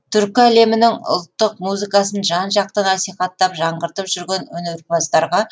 түркі әлемінің ұлттық музыкасын жан жақты насихаттап жаңғыртып жүрген өнерпаздарға